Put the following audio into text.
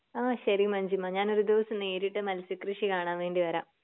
ആ ശരി മഞ്ജിമ ഞാൻ ഒരു ദിവസം നേരിട്ട് മത്സ്യകൃഷി കാണാൻ വേണ്ടി വരാം.